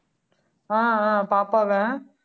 ஆஹ் அஹ் பாப்பாவா